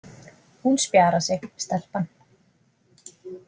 Hún spjarar sig, stelpan